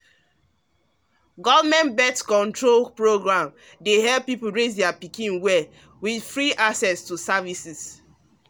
government born-control program dey help people raise pikin well with free access to services